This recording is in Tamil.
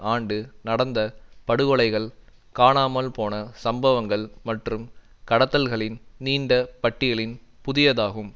ஆண்டு நடந்த படுகொலைகள் காணாமல்போன சம்பவங்கள் மற்றும் கடத்தல்களின் நீண்ட பட்டியலின் புதியதாகும்